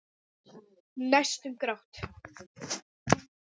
Næstum grátt.